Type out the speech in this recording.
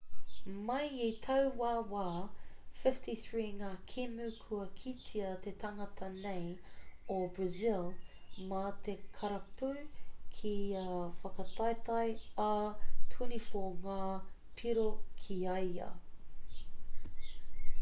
mai i taua wā 53 ngā kēmu kua kitea te tangata nei o brazil mā te karapu ki ia whakataetae ā 24 ngā piro ki a ia